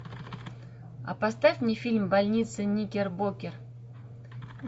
а поставь мне фильм больница никербокер